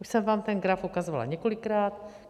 Už jsem vám ten graf ukazovala několikrát.